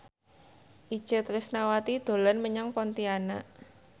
Itje Tresnawati dolan menyang Pontianak